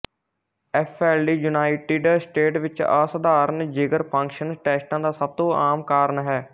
FLD United State ਵਿੱਚ ਅਸਧਾਰਨ ਜਿਗਰ ਫੰਕਸ਼ਨ ਟੈਸਟਾਂ ਦਾ ਸਭ ਤੋਂ ਆਮ ਕਾਰਨ ਹੈ